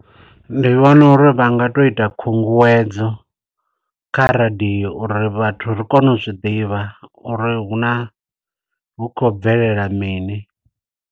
Ndi vhona uri vha nga to ita khunguwedzo, kha radio, uri vhathu ri kone u zwiḓivha uri hu na hu khou bvelela mini.